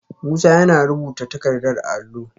Musa yana rubuta takardar a allo